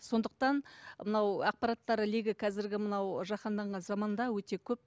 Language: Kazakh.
сондықтан мынау ақпараттар легі қазіргі мынау жаханданған заманда өте көп